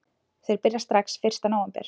Þeir byrja strax fyrsta nóvember